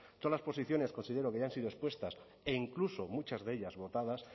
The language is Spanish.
todas las posiciones considero que ya han sido expuestas e incluso muchas de ellas votadas